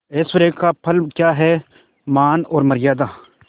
ऐश्वर्य का फल क्या हैमान और मर्यादा